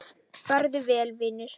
Farðu vel, vinur.